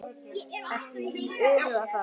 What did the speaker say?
Ertu að íhuga það?